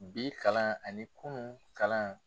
Bi kalan ani kunun kalan